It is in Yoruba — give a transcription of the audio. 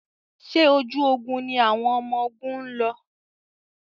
Ṣé ojú ogun ni àwọn ọmọgun ń lọ?